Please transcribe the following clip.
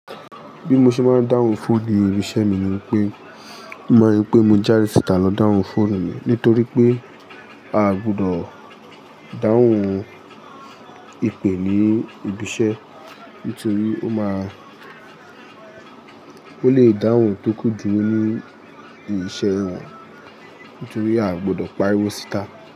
Bí mo ṣe máa ń dáhùn fóònù ibi iṣẹ́ mi ni pé, mo ma ri pé mo jade si'ítà lọ dáhùn fóònù mi nítorí pé a gbọdọ̀ dáhùn ìpè ní ibi iṣẹ́ nítorí ó máa ń, ó lè dáhùn tó kù díu ní iṣẹ́ wọn nítorí a gbọdọ̀ pariwú síta.